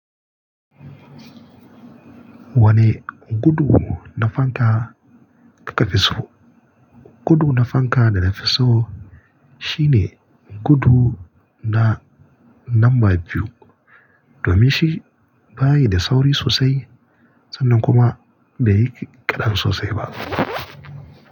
Wane gudu na fanka da ka fi so? Gudu na fanka da na fi so shine gudu na namba biyu domin shi bayi da sauri sosai sannan kuma bai yi kaɗan sosai ba.